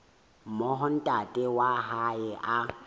moo ntate wa hae a